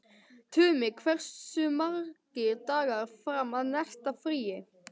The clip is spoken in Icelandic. Tumi, hversu margir dagar fram að næsta fríi?